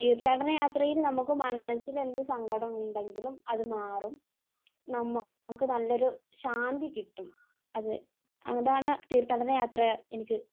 തീർത്ഥാടന യാത്രയിൽ നമുക്ക് മനസ്സിന് എന്ത് സങ്കടമുണ്ടെങ്കിലും അത് മാറും. നമുക്ക് നല്ലൊരു ശാന്തി കിട്ടും. അത്, അതാണ് തീർത്ഥാടന യാത്ര എനിക്ക്